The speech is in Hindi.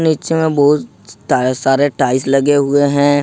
नीचे में बहुत सारे टाइल्स लगे हुए हैं।